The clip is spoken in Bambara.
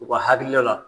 U ka hakilila la